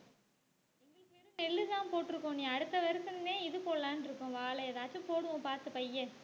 நிலுதான் போட்டிருக்கோம். நீ அடுத்த வருஷமே தான் இது போடலாம்ன்னு இருக்கோம். வாழை ஏதாச்சும் போடுவோம் பார்த்து பையன்